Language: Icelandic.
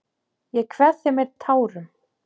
Ég kveð þig með tárum.